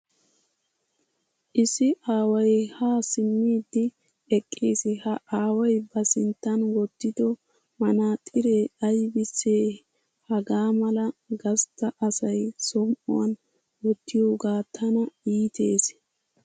Issi aaway ha simmidi eqqiis ha aaway ba sinttan wottiddo manaxxiree aybisse hagaa mala gastta asay som"uwan wottiyoge tana iittees.